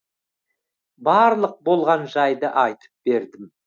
барлық болған жайды айтып бердім